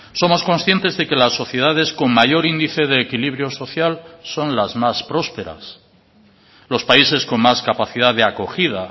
somos conscientes de que las sociedades con mayor índice de equilibrio social son las más prósperas los países con más capacidad de acogida